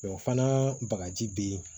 Mɛ o fana bagaji bɛ yen